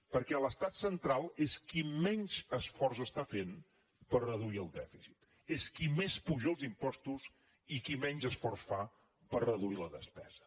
perquè l’estat central és qui menys esforç està fent per reduir el dèficit és qui més apuja els impostos i qui menys esforç fa per reduir la despesa